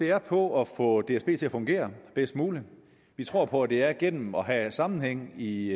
er på at få dsb til at fungere bedst muligt vi tror på at det er gennem at have sammenhæng i